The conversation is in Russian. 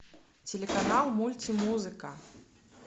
телеканал мультимузыка